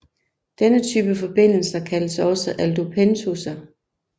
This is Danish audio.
Denne type forbindelser kaldes også aldopentoser